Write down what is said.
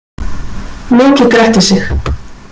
Loki gretti sig.